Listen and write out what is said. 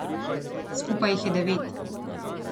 Skupaj jih je devet.